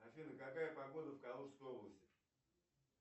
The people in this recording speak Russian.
афина какая погода в калужской области